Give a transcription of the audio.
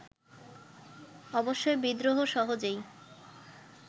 অবশ্যই বিদ্রোহ সহজেই